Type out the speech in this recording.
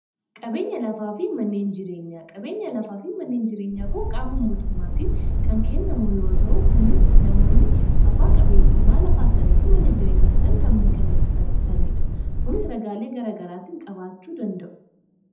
qabeena lafaafi manneen jireenya qabeenya lafaa fi manneen jireenyaa konqaamum mootummaatiin kan kennamu yoo ta'uu kunis namoonni abbaa qabeenyummaa lafaasaniifi mana jireenyaasan kan mirkanefataniidha kunis ragaalee garagaraattiin qabaachuu danda'u